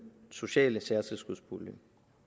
sociale særtilskudspulje